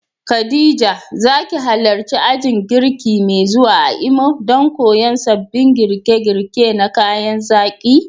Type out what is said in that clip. Khadija, za ki halarci ajin girki mai zuwa a Imo don koyon sabbin girke-girke na kayan zaki?